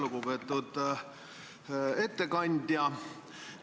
Lugupeetud ettekandja!